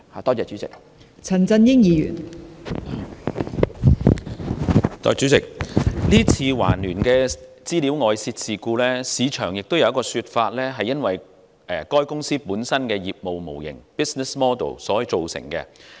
代理主席，對於這次環聯的資料外泄事件，有人認為是由該公司本身的業務模型造成。